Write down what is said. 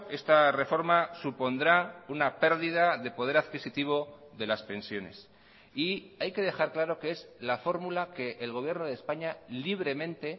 esta reforma supondrá una pérdida de poder adquisitivo de las pensiones y hay que dejar claro que es la fórmula que el gobierno de españa libremente